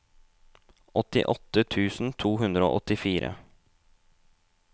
åttiåtte tusen to hundre og åttifire